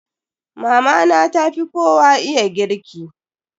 Mama na ta fi kowa iya girki.